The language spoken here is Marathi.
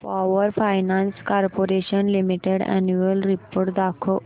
power finance corporation limited annual report दाखव